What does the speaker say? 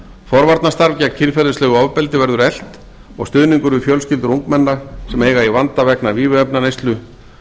forvarnarstarf gegn kynferðislegu ofbeldi verður eflt og stuðningur við fjölskyldur ungmenna sem eiga í vanda vegna vímuefnaneyslu